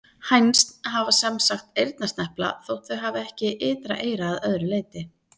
Hænsn hafa sem sagt eyrnasnepla þótt þau hafi ekki ytra eyra að öðru leyti.